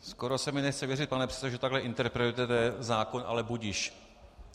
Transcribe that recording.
Skoro se mi nechce věřit, pane předsedo, že takhle interpretujete zákon, ale budiž.